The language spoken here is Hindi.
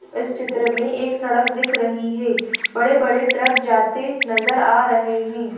इस चित्र में एक सड़क दिख रही है बड़े-बड़े ट्रक जाते नजर आ रहे हैं।